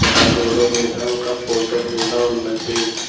ఒక గోడ మీద ఒక ఫోటో కూడా ఉన్నది.